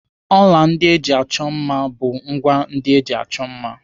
Ọla ndị eji achọ mma bụ ngwá ndị eji achọ mma.